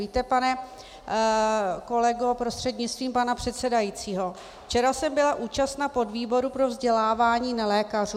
Víte, pane kolego prostřednictvím pana předsedajícího, včera jsem byla účastna podvýboru pro vzdělávání nelékařů.